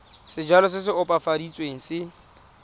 sejalo se se opafaditsweng se